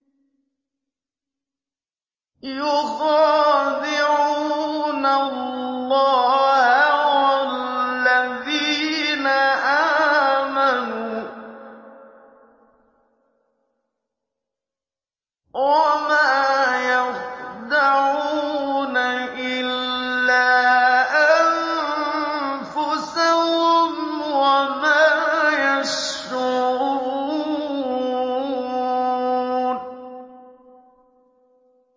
يُخَادِعُونَ اللَّهَ وَالَّذِينَ آمَنُوا وَمَا يَخْدَعُونَ إِلَّا أَنفُسَهُمْ وَمَا يَشْعُرُونَ